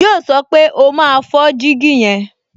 Yíò sọ pé, "O máa fọ́ jígí yẹn"